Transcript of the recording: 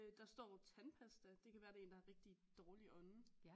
Der står tandpasta det kan være det er en der har rigtigt dårlig ånde